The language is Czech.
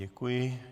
Děkuji.